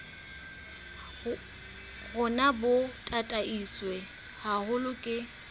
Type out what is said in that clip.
rona bo tataiswe haholo ke